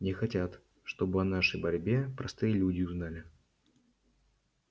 не хотят чтобы о нашей борьбе простые люди узнали